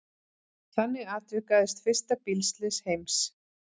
Þannig atvikaðist fyrsta bílslys heims.